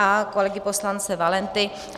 A kolegy poslance Valenty.